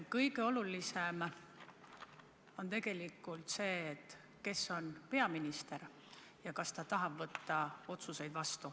Kõige olulisem on tegelikult see, kes on peaminister ja kas ta tahab võtta vastu otsuseid.